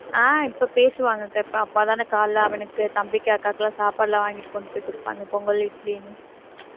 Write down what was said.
ஆஹ் இப்ப பேசுவாங்கக்கா இப்ப அப்பாதான காலையில அவனுக்கு தம்பிக்கு அக்காவுக்கு எல்லாம் சாப்பாடெல்லாம் வாங்கிட்டு கொண்டு போய் கொடுப்பாங்க பொங்கல் இட்லின்னு